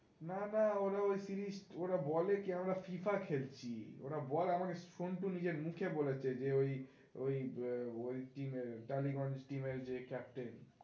না না ওরা ওই সিরিজ ওরা কি আমরা FIFA খেলছি ওরা বলে আমাকে সন্টু নিজের মুখে বলেছে যে ওই ওই team এর টালিগঞ্জ team এর যে captain